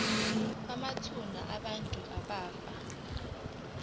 kwamathuna abantu abafa